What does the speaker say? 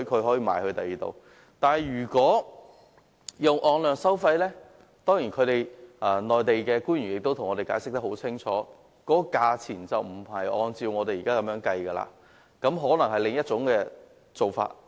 可是，如果使用按量收費方式，內地官員亦已向我們清楚解釋，在價錢上就不會按照現時的方式計算，而可能有另一種做法。